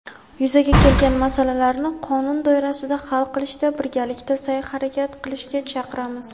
yuzaga kelgan masalalarni qonun doirasida hal qilishda birgalikda saʼy-harakat qilishga chaqiramiz.